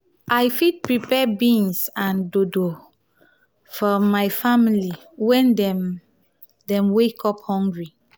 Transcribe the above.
i fit prepare beans and dodo for my family when dem dem wake up hungry.